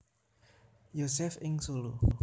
Josef ing Solo